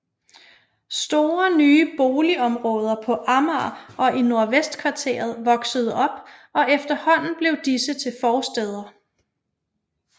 Store nye boligområder på Amager og i Nordvestkvarteret voksede op og efterhånden blev disse til forstæder